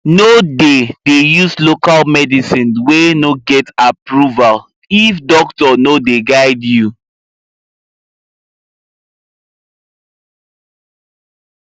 no dey dey use local medicine wey no get approval if doctor no dey guide you